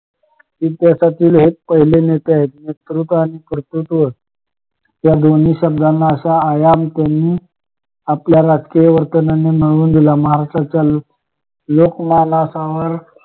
इतिहासातील हे पहिले नेते आहेत विकृत आणि कर्तृत्व या दोन्ही शब्दांना अशा आयमतेने आपल्या राजकीय वर्तनांनी मिळवून दिला महाराष्ट्राच्या लोक लोकमानसावर